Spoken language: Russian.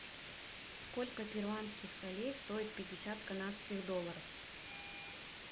сколько перуанских солей стоит пятьдесят канадских долларов